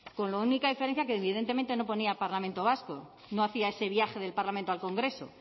con la única diferencia que evidentemente no ponía parlamento vasco no hacía ese viaje del parlamento al congreso